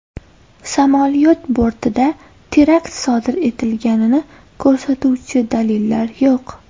Samolyot bortida terakt sodir etilganini ko‘rsatuvchi dalillar yo‘q.